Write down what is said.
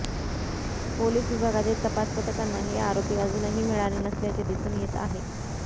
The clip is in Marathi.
पोलीस विभागातील तपास पथकांना हे आरोपी अजूनही मिळाले नसल्याचे दिसून येत आहे